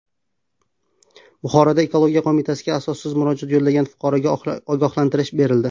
Buxoroda Ekologiya qo‘mitasiga asossiz murojaat yo‘llagan fuqaroga ogohlantirish berildi.